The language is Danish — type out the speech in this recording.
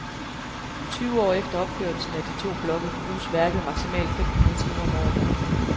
Tyve år efter opførelsen af de to blokke bruges værket maksimalt fem hundrede timer om året.